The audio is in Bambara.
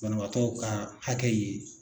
Banabaatɔ ka hakɛ ye